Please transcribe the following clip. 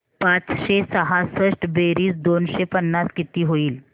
पाचशे सहासष्ट बेरीज दोनशे पन्नास किती होईल